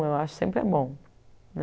Eu acho sempre é bom.